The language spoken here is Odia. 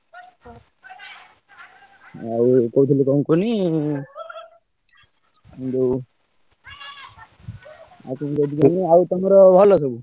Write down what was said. ଆଉ କହୁଥିଲି କଣ କୁହନୀ ଯୋଉ ଆଉ କଣ କହୁଥିଲି କୁହନୀ ଆଉ ତମର ଭଲ ସବୁ।